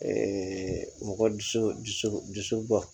mɔgɔ dusu dusu dusu bɔ